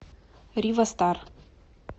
рива старр